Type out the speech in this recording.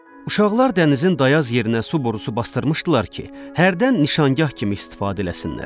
Uşaqlar dənizin dayaz yerinə su borusu basdırmışdılar ki, hərdən nişangah kimi istifadə eləsinlər.